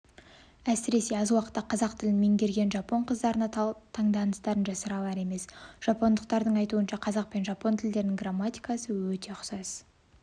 әсіресе аз уақытта қазақ тілін меңгерген жапон қыздарына таңданыстарын жасыра алар емес жапондықтардың айтуынша қазақ пен жапон тілдерінің грамматикасы өте ұқсас